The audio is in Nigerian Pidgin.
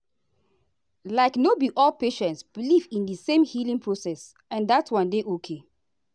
like no be all patients believe in the same healing process and that one dey okay.